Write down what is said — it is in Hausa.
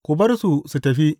Ku bar su su tafi!